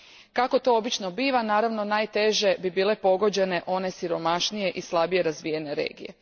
Kako to obično biva, naravno najteže bi bile pogođene one siromašnije i slabije razvijene regije.